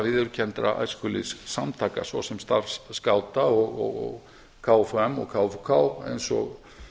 viðurkenndra æskulýðssamtaka svo sem starfs skáta og kfum og kfuk eins og